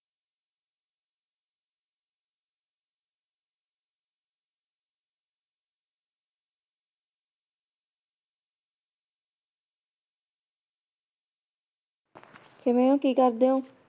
ਕਿਵੇਂ ਹੋ ਕੀ ਕਰਦੇ ਹੋ?